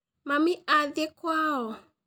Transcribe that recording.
Mami athiĩ kwao